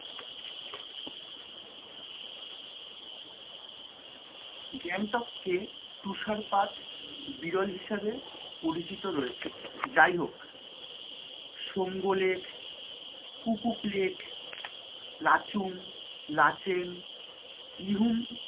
গ্যাংটক এ তুষারপাত বিরল হিসেবে পরিচিত রয়েছে যাই হোক সংগলেক কুপুকলেক, লাচুং, লাচেন ইহুম,